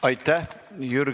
Aitäh!